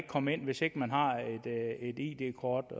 komme ind hvis ikke man har et id kort